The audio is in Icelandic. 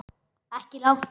Ekki langt.